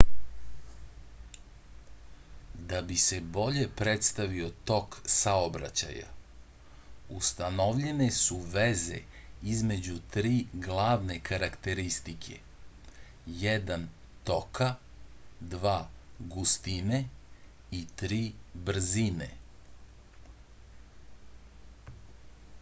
да би се боље представио ток саобраћаја установљене су везе између три главне карактеристике: 1 тока 2 густине и 3 брзине